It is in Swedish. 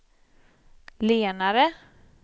lenare